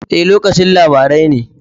E, lokacin labarai ne.